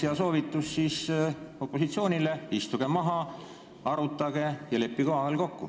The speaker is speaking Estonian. Hea soovitus opositsioonile oleks, et istuge maha, arutage ja leppige omavahel kokku.